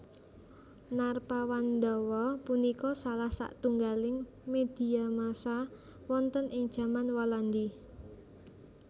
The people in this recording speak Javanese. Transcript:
Narpawandawa punika salah satunggaling medhia massa wonten ing jaman Walandi